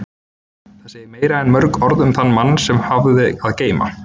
Það segir meira en mörg orð um þann mann sem hann hafði að geyma.